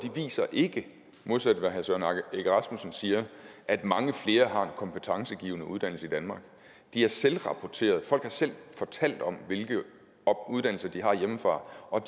viser ikke modsat hvad herre søren egge rasmussen siger at mange flere har en kompetencegivende uddannelse i danmark de er selvrapporteret folk har selv fortalt om hvilke uddannelser de har hjemmefra og